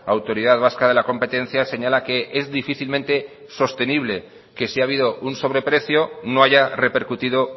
autoridad vasca de la competencia señala que es difícilmente sostenible que si ha habido un sobreprecio no haya repercutido